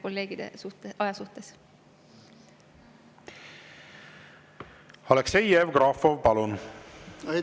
Aleksei Jevgrafov, palun!